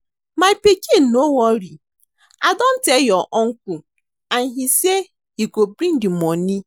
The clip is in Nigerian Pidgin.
My pikin no worry I don tell your uncle and he say he go bring the money